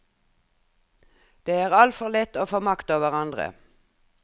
Det er altfor lett å få makt over den andre.